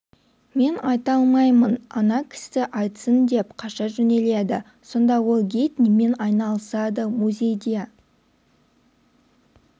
мен айта алмаймын ана кісі айтсын деп қаша жөнеледі сонда ол гид немен айналысады музейде